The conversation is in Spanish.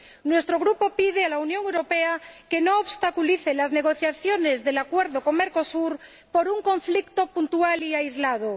Nuestro Grupo pide a la Unión Europea que no obstaculice las negociaciones del Acuerdo con Mercosur por un conflicto puntual y aislado.